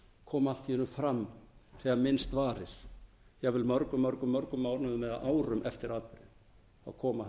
koma allt í einu fram þegar minnst varir jafnvel mörgum mörgum mörgum mánuðum eða árum eftir atburðinn koma